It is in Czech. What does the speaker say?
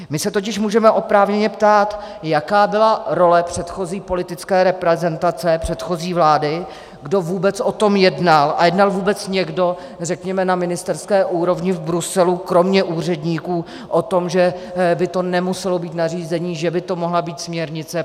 My se totiž můžeme oprávněně ptát, jaká byla role předchozí politické reprezentace, předchozí vlády, kdo vůbec o tom jednal, a jednal vůbec někdo, řekněme, na ministerské úrovni v Bruselu kromě úředníků o tom, že by to nemuselo být nařízení, že by to mohla být směrnice.